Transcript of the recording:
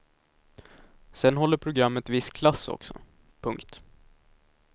Sen håller programmet viss klass också. punkt